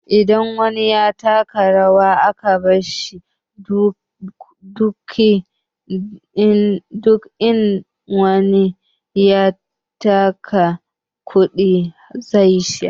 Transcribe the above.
Idan wani ya taka rawa aka bashi kuɗi, in wani ya taka duka zai sha.